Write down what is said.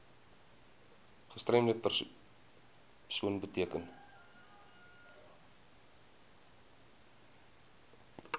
gestremde persoon beteken